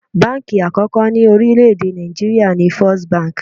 Báǹkì àkọ́kọ́ ni orílẹ̀ èdè Nàìjíríà ni First Bank.